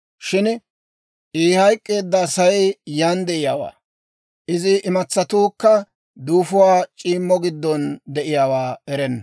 Shin I hayk'k'eedda Asay yaan de'iyaawaa, izi imatsatuukka duufuwaa c'iimmo giddon de'iyaawaa erenna.